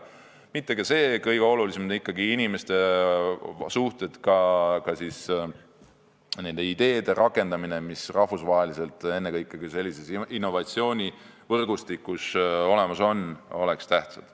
Aga kõige olulisem on ikkagi, et inimeste suhted ja ka nende ideede rakendamine, mis rahvusvaheliselt sellises innovatsioonivõrgustikus olemas on, oleksid tähtsad.